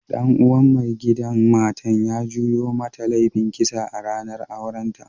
Dan uwan maigidan matan ya juyo mata laifin kisa a'ranan auren ta.